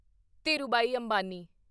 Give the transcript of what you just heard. Dhirubhai Ambani